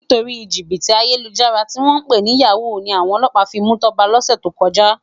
Nitóri jibiti àyélújàrá tiwòn pé ni yàwú ni áwòn òlòpá fi mú Toba lòsé tókòjá